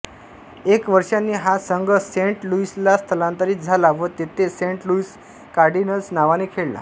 एक वर्षाने हा संघ सेंट लुइसला स्थलांतरित झाला व तेथे सेंट लुइस कार्डिनल्स नावाने खेळला